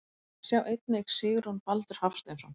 Sjá einnig Sigurjón Baldur Hafsteinsson.